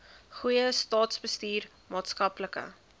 goeie staatsbestuur maatskaplike